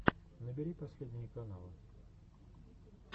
набери последние каналы